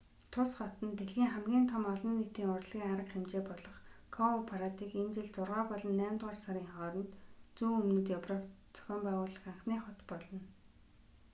тус хот нь дэлхийн хамгийн том олон нийтийн урлагийн арга хэмжээ болох коупарадыг энэ жил зургаа болон наймдугаар сарын хооронд зүүн өмнөд европт зохион байгуулах анхны хот болно